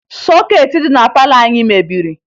Sọkeetị dị na palọ anyị mebiri